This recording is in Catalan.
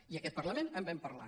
i en aquest parlament en vam parlar